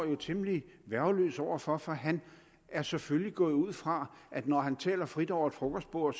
jo temmelig værgeløs over for for han er selvfølgelig gået ud fra at når han taler frit over et frokostbord